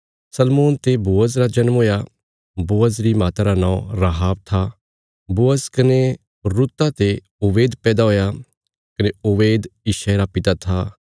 सलमोन ते बोअज रा जन्म हुया बोअज री माता रा नौं राहाब था बोअज कने रुता ते ओबेद पैदा हुया कने ओबेद यिशै रा पिता था